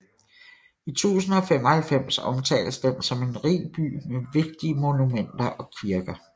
I 1095 omtales den som en rig by med vigtige monumenter og kirker